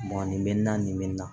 nin bɛ na nin bɛ n na